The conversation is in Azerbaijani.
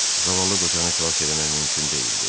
Zavallı qocanı xilas eləmək mümkün deyil, dedi.